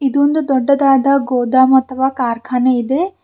ಇದು ಒಂದು ದೊಡ್ಡದಾದ ಗೊದಾಮ ಅಥವಾ ಕಾರ್ಖಾನೆ ಇದೆ.